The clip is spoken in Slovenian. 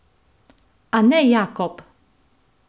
A ne Jakob!